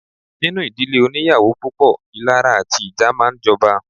Nínú ìdílé óníyàwó púpọ̀, ìlara àti ìjà máa ń jọba.